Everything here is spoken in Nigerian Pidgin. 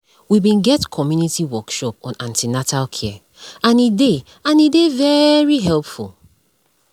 we bin get community workshop on an ten atal care and e dey and e dey very helpful